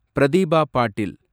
Pratibha பாட்டில்